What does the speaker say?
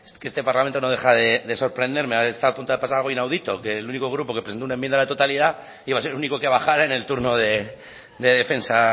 que este parlamento no deja de sorprenderme ha estado a punto de pasar algo inaudito que el único grupo que presentó una enmienda a la totalidad iba a ser el único que bajara en el turno de defensa